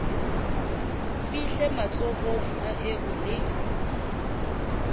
fihle matsohong a eo le